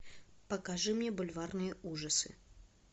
покажи мне бульварные ужасы